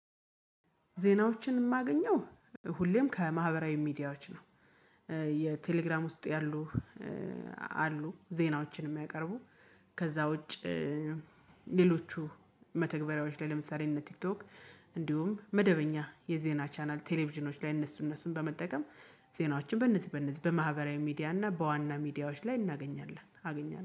ዜናዎችን የማገኘው ሁሌም ከማህበራዊ ሚዲያዎች ነው። የቴሌግራም ውስጥ ያሉ አሉ ዜናዎችን የሚያቀርቡ ከዛ ውጭ። ሌሎቹ መተግበሪያዎች ላይ ለምሳሌ እነ ቲክቶክ እንዲሁም መደበኛ የዜና ቻናል ቴሌቪዥኖች ላይ እነሱ እነሱን በመጠቀም ዜናዎችን በነዚህ በነዚህ በማህበራዊ ሚዲያና በዋና ሚዲያዎች ላይ እናገኛለን አገኛለሁ